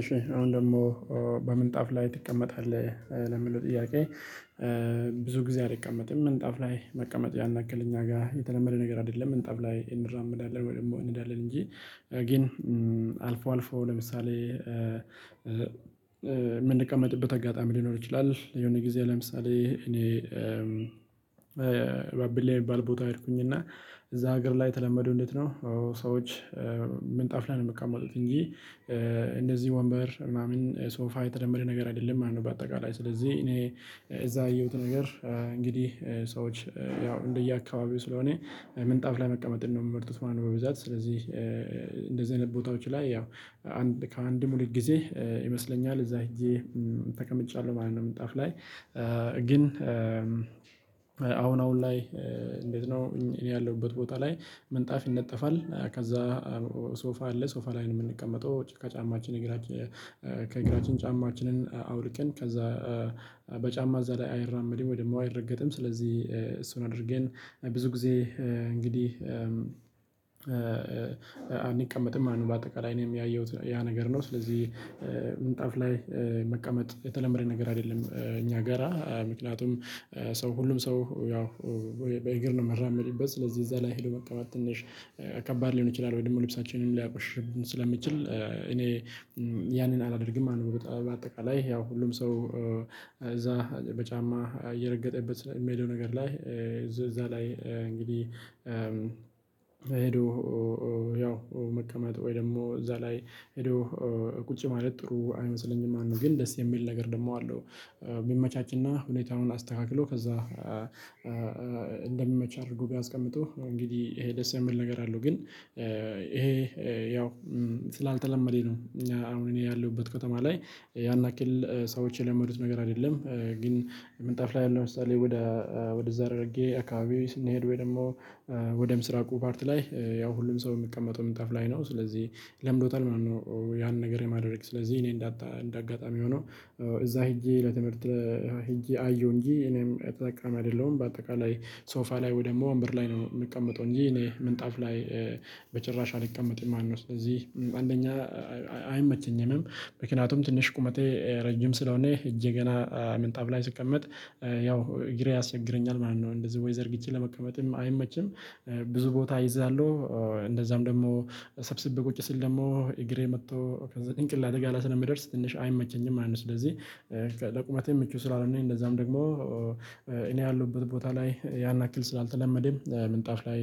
እሺ አሁን ደግሞ በምንጣፍ ላይ ትቀመጣለህ ለምለው ጥያቄ? ብዙ ጊዜ አልቀመጥም ምንጣፍ ላይ መቀመጥ ያን ያክል እኛ ጋር የተለመደ ነገር አይደለም ምንጣፍ ላይ እንራመዳለን ወይ ደግሞ እንሄዳለን እንጂ ግን አልፎ አልፎ ለምሳሌ የምንቀመጥበት አጋጣሚ ሊኖር ይችላል። የሆነ ጊዜ ለምሳሌ እኔ። በአብሌ የሚባል ቦታ ሄድኩኝ እና እዚያ ሀገር ላይ የተለመዱ እንዴት ነው? ሰዎች ምንጣፍ ላይ ነው የምትቀመጡት እንጂ እንደዚህ ወንበር ምናምን ሶፋ የተለመደ ነገር አይደለም ማለት ነው። በአጠቃላይ ስለዚህ እኔ እዚያ ያየሁት ነገር እንግዲህ ሰዎች ያው እንደየአካባቢው ስለሆነ ምንጣፍ ላይ መቀመጥ ነው የምመርቱት ማለት ነው። በብዛት ስለዚህ እንደዚህ አይነት ቦታዎች ላይ ያው ከአንድ ሁለት ጊዜ ይመስለኛል እዚያ ሄጄ ተቀምጫለሁ ማለት ነው። ምንጣፍ ላይ ግን አሁን አሁን ላይ እንዴት ነው? እኔ ያለሁበት ቦታ ላይ ምንጣፍ ይነጠፋል። ከዚያ ሶፋ አለ ሶፋ ላይ የምንቀመጠው ጭካ ጫማችን እግራችን ከእግራችን ጫማችንን አውልከን ከዚያ በጫማ እዚያ ላይ አይራመድም ወደ ደግሞ አይረገጥም ስለዚህ እሱን አድርገን ብዙ ጊዜ እንግዲህ አንቀመጥም ማለት ነው። በአጠቃላይ እኔም ያየሁት ያ ነገር ነው ስለዚህ ምንጣፍ ላይ መቀመጥ የተለመደ ነገር አይደለም። እኛ ገራ ምክንያቱም ሰው ሁሉም ሰው ያው በእግር ነው ምራመድበት ስለዚህ እዚያ ላይ ሄዶ መቀመጥ ትንሽ ከባድ ሊሆን ይችላል ወይ ደግሞ ልብሳችንን ሊያቆሽሽብን ስለሚችል እኔ ያንን አላደርግም ማለት ነው። በአጠቃላይ ያው ሁሉም ሰው እዚያ በጫማ እየረገጠበት የሚሄደው ነገር ላይ እዚያ ላይ እንግዲህ ሄዶ ያው መቀመጥ ወይ ደግሞ እዚያ ላይ ሄዶ ቁጭ ማለት ጥሩ አይመስለኝም ማለት ነው። ግን ደስ የሚል ነገር ደግሞ አለው ቢመቻችና ሁኔታውን አስተካክሎ ከዚያ እንደሚመች አድርጎ ቢያስቀምጡ እንግዲህ ይሄ ደስ የምል ነገር አለው። ግን ይሄ ያው ስላልተለመደ ነው። አሁን እኔ ያለሁበት ከተማ ላይ ያን ያክል ሰዎች የለመዱት ነገር አይደለም። ግን ምንጣፍ ላይ አሁን ለምሳሌ ወደ ወደዛ ሃራሪጌ አካባቢ ስንሄድ ወይ ደግሞ ወደ ምስራቁ ፓርት ላይ ያው ሁሉም ሰው የምቀመጠው ምንጣፍ ላይ ነው ስለዚህ ለምዶታል ማለት ነው። ያንን ነገር የማደርግ ስለዚህ እኔ እንዳጣ እንደ አጋጣሚ ሆኖ እዚያ ሄጄ ለትምህርት ሄጄ አየሁ እንጂ እኔም ተጠቃሚ አይደለሁም በአጠቃላይ። ሶፋ ላይ ወይ ደግሞ ወንበር ላይ ነው የምቀመጠው እንጂ እኔ ምንጣፍ ላይ በጭራሽ አልቀመጥም ማለት ነው። ስለዚህ አንደኛ አይመቸኝም ምክንያቱም ትንሽ ቁመቴ ረጅም ስለሆነ እጄ ገና ምንጣብ ላይ ስቀመጥ ያው እግሬ ያስቸግረኛል ማለት ነው። እንደዚህ ወይ ዘርግቼ ለመቀመጥም አይመችም ብዙ ቦታ እይዛሉ እንደዛም ደግሞ ሰብስቤ ቁጭ ስል ደግሞ እግሬ መጥቶ ከዚያ ጭንቅላቴ ጋር ላይ ስለሚደርስ ትንሽ አይመቸኝም ማለት ነው። ስለዚህ ለቁመቴ ምቹ ስላልሆነ እንደዛም ደግሞ እኔ ያለሁበት ቦታ ላይ ያናክል ስላልተለመደም ምንጣፍ ላይ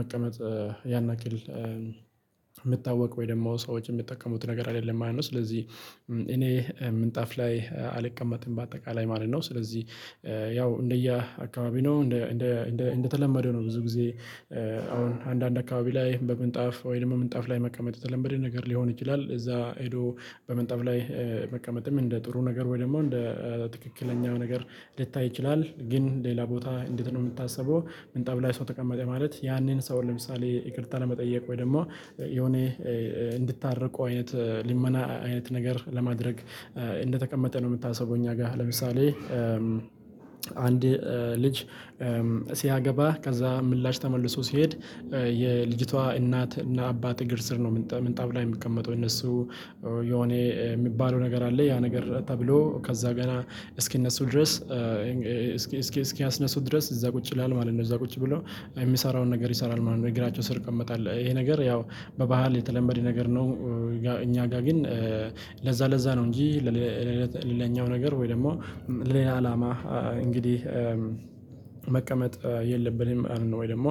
መቀመጥ ያን ያክል የምታወቅ ወይ ደግሞ ሰዎች የሚጠቀሙት ነገር አይደለም ማለት ነው። ስለዚህ እኔ ምንጣፍ ላይ አልቀመጥም በአጠቃላይ ማለት ነው። ስለዚህ ያው እንደየ አካባቢ ነው እንደ እንደ እንደ እንደተለመደው ነው ብዙ ጊዜ አሁን አንዳንድ አካባቢ ላይ በምንጣፍ ወይም ምንጣፍ ላይ መቀመጥ የተለመደ ነገር ሊሆን ይችላል። እዛ ሄዶ በምንጣፍ ላይ መቀመጥም እንደ ጥሩ ነገር ወይ ደግሞ እንደ ትክክለኛው ነገር ልታይ ይችላል። ግን ሌላ ቦታ እንዴት ነው የምታስበው? ምንጣፍ ላይ ሰው ተቀመጠ ማለት ያንን ሰው ለምሳሌ ይቅርታ ለመጠየቅ ወይ ደግሞ የሆነ እንድታርቁ አይነት ሊመና አይነት ነገር ለማድረግ እንደተቀመጠ ነው የምታሰበው። እኛ ጋር ለምሳሌ አንድ ልጅ ሲያገባ ከዚያ ምላሽ ተመልሶ ሲሄድ የልጅቷ እናት እና አባት እግር ስር ነው ምንጣፍ ላይ የሚቀመጠው እነሱ የሆነ የሚባለው ነገር አለ ያ ነገር ተብሎ ከዚያ ጋር እስኪነሱ ድረስ እስኪ እስኪ እስኪያስነሱ ድረስ እዛለዚያ ቁጭ ይላል ማለት ነው እዚያ ቁጭ ብሎ የሚሰራውን ነገር ይሰራል ማለት ነው እግራቸው ስር ይቀመጣል ይሄ ነገር ያው በባህል የተለመደ ነገር ነው። እኛ ጋር ግን ለዛ ለዛ ነው እንጂ። ያኛው ነገር ወይ ደግሞ ሌላ አላማ እንግዲህ መቀመጥ የለብንም ወይ ደግሞ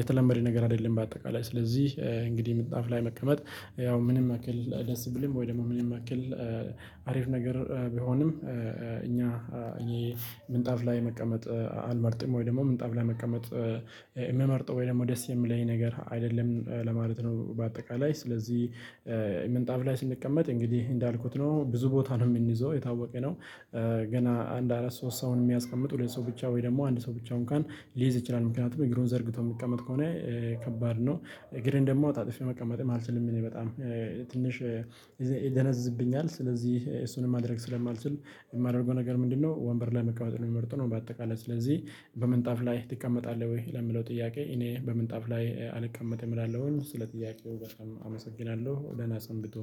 የተለመደ ነገር አይደለም። በአጠቃላይ ስለዚህ እንግዲህ ምጣፍ ላይ መቀመጥ ያው ምንም ያክል ደስ ብልም ወይ ደግሞ ምንም ያክል አሪፍ ነገር ቢሆንም እኛ እኔ ምንጣፍ ላይ መቀመጥ አልመርጥም። ወይ ደግሞ ምንጣፍ ላይ መቀመጥ የምመርጠው ወይ ደግሞ ደስ የሚለኝ ነገር አይደለም ለማለት ነው። በአጠቃላይ ስለዚህ ምንጣፍ ላይ ስንቀመጥ እንግዲህ እንዳልኩት ነው ብዙ ቦታ ነው የምንይዘው የታወቀ ነው። ገና አንድ አራት ሶስት ሰውን የሚያስቀምጥ ሁለት ሰው ብቻ ወይ ደግሞ አንድ ሰው ብቻውን እንኳን ሊይዝ ይችላል። ምክንያቱም እግሩን ዘርግቶ የሚቀመጥ ከሆነ ከባድ ነው። እግሬን ደግሞ አጣጥፊ መቀመጥም አልችልም። እኔ በጣም ትንሽ ይደነዝዝብኛል ስለዚህ እሱንም ማድረግ ስለማልችል የማደርገው ነገር ምንድነው? ወንበር ላይ መቀበል የሚመርጠው ነው። በአጠቃላይ ስለዚህ በምንጣፍ ላይ ትቀመጣለህ ወይ ለምለው ጥያቄ? እኔ በምንጣፍ ላይ አልቀመጥም እላለው ስለ ጥያቄው በጣም አመሰግናለሁ። ደህና ሰንብቶ